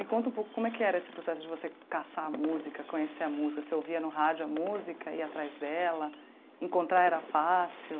Me conta um pouco como é que era esse processo de você caçar a música, conhecer a música, você ouvia no rádio a música, ia atrás dela, encontrar era fácil?